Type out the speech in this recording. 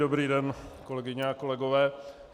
Dobrý den, kolegyně a kolegové.